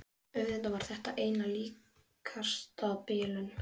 Auðvitað var þetta einna líkast bilun.